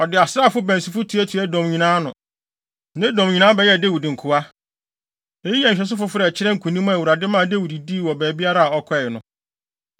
Ɔde asraafo bansifo tuatuaa Edom nyinaa ano. Na Edomfo nyinaa bɛyɛɛ Dawid nkoa. Eyi yɛ nhwɛso foforo a ɛkyerɛɛ nkonim a Awurade maa Dawid dii wɔ baabiara a ɔkɔe no.